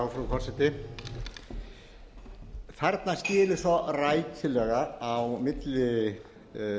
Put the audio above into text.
frú forseti þarna skilur svo rækilega á milli